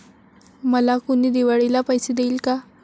'मला कुणी दिवाळीला पैसे देईल का?'